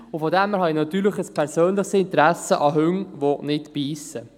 Daher habe ich natürlich ein persönliches Interesse an Hunden, die nicht beissen.